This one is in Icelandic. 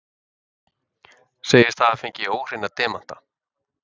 Segist hafa fengið óhreina demanta